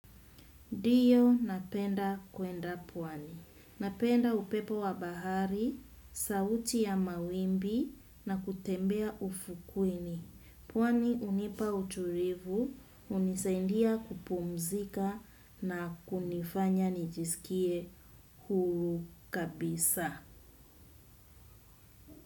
Ndiyo napenda kwenda pwani. Napenda upepo wa bahari, sauti ya mawimbi na kutembea ufukweni. Pwani hunipa utulivu, unisaidia kupumzika na kunifanya nijisikie huru kabisa.